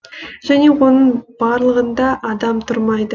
және оның барлығында адам тұрмайды